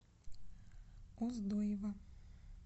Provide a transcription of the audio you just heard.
оздоева